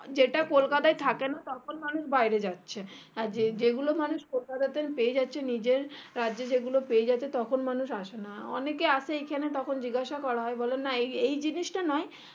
যেটা কলকাতায় থাকেনা তখন মানুষ বাইরে যাচ্ছে আর যেই গুলো মানুষ কোলকাতাতে পেয়ে যাচ্ছে নিজের কাজে যেগুলো পেয়ে যাচ্ছে তখন মানুষ আসেনা অনেকে আসে এখানে তখন জিজ্ঞাসা করা হয় বলে না এই জিনিসটা নাই